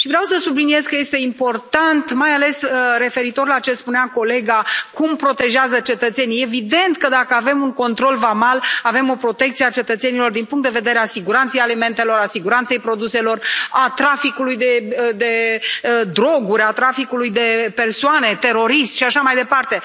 Vreau să subliniez că este important, mai ales că, referitor la ce spunea colega mea, la modul în care protejează cetățenii, evident că, dacă avem un control vamal, avem o protecție a cetățenilor din punct de vedere al siguranței alimentare, al siguranței produselor, al traficului de droguri, al traficului de persoane, al terorismului și așa mai departe.